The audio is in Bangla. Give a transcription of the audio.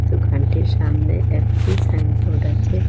দোকানটির সামনে একটি সাইনবোর্ড আছে।